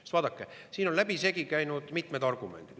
Sest vaadake, siin on läbisegi käinud mitmed argumendid.